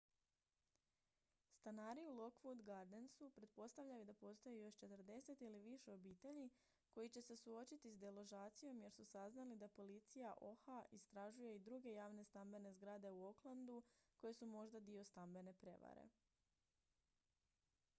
stanari u lockwood gardensu pretpostavljaju da postoji još 40 ili više obitelji koji će se suočiti s deložacijom jer su saznali da policija oha istražuje i druge javne stambene zgrade u oaklandu koje su možda dio stambene prijevare